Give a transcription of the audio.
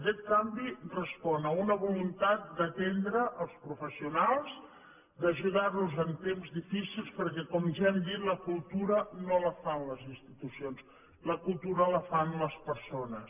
aquest canvi respon a una voluntat d’atendre els professionals d’ajudar los en temps difícils perquè com ja hem dit la cultura no la fan les institucions la cultura la fan les persones